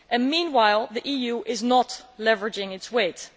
Meanwhile, the EU is not leveraging its weight.